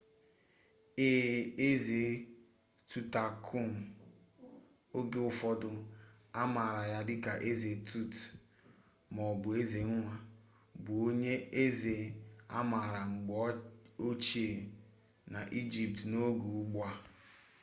ee eze tutankhamun oge ụfọdụ amaara ya dịka eze tut maọbụ eze nwa bụ onye eze amaara mgbe ochie n'egypt n'oge ugbu a